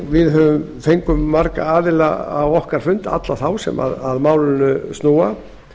við fengum marga gesti á okkar fund alla þá sem málið snýr að